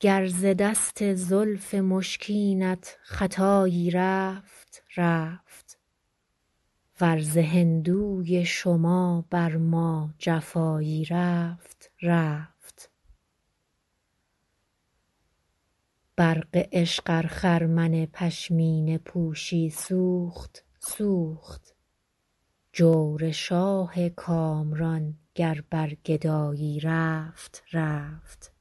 گر ز دست زلف مشکینت خطایی رفت رفت ور ز هندوی شما بر ما جفایی رفت رفت برق عشق ار خرمن پشمینه پوشی سوخت سوخت جور شاه کامران گر بر گدایی رفت رفت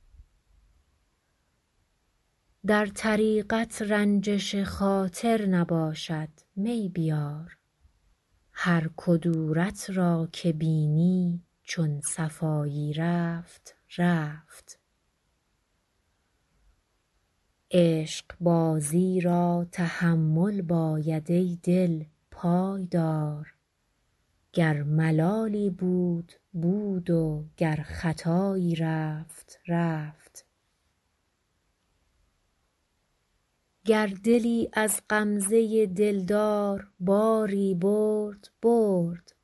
در طریقت رنجش خاطر نباشد می بیار هر کدورت را که بینی چون صفایی رفت رفت عشقبازی را تحمل باید ای دل پای دار گر ملالی بود بود و گر خطایی رفت رفت گر دلی از غمزه دلدار باری برد برد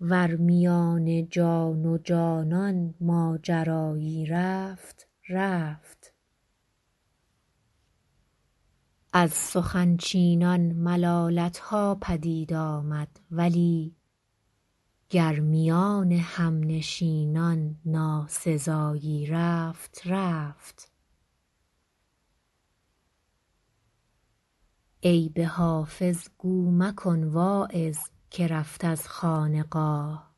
ور میان جان و جانان ماجرایی رفت رفت از سخن چینان ملالت ها پدید آمد ولی گر میان همنشینان ناسزایی رفت رفت عیب حافظ گو مکن واعظ که رفت از خانقاه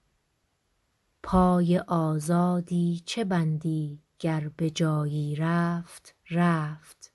پای آزادی چه بندی گر به جایی رفت رفت